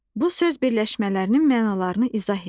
Bu söz birləşmələrinin mənalarını izah et.